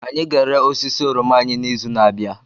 Anyị ga-ere osisi oroma anyị n'izu na-abịa.